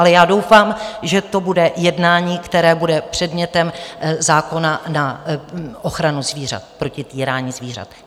Ale já doufám, že to bude jednání, které bude předmětem zákona na ochranu zvířat, proti týrání zvířat.